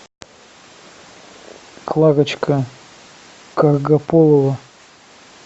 кларочка каргаполова